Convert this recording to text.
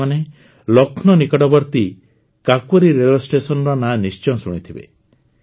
ଆପଣମାନେ ଲକ୍ଷ୍ନୌ ନିକଟବର୍ତ୍ତୀ କାକୋରୀ ରେଳ ଷ୍ଟେସନର ନାଁ ନିଶ୍ଚୟ ଶୁଣିଥିବେ